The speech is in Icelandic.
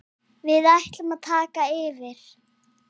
Við ætlum að taka yfir.